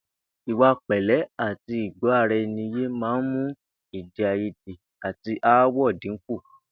Ìwà pè̩lé̩ àti ìgbó̩-ara-e̩ni-yé máa ń mú èdè-àìyédè àti aáwò̩ dínkù